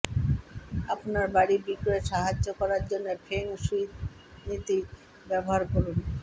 আপনার বাড়ি বিক্রয় সাহায্য করার জন্য ফেং শুই নীতি ব্যবহার করুন